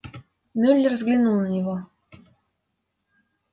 мюллер взглянул на него